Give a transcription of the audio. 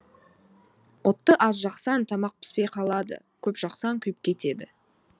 отты аз жақсаң тамақ піспей қалады көп жақсаң күйіп кетеді